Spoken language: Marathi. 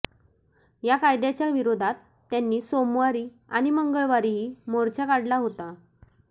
या कायद्याच्या विरोधात त्यांनी सोमवारी आणि मंगळवारीही मोर्चा काढला होता